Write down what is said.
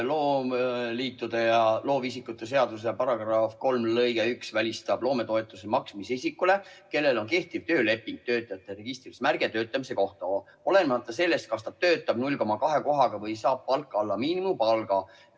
Loovisikute ja loomeliitude seaduse § 3 lõige 1 välistab loometoetuse maksmise isikule, kellel on kehtiv tööleping, töötajate registris märge töötamise kohta, olenemata sellest, kas ta töötab 0,2 kohaga või saab palka alla miinimumpalga.